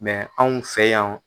anw fɛ yan.